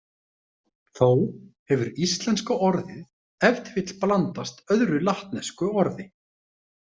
Þó hefur íslenska orðið ef til vill blandast öðru latnesku orði.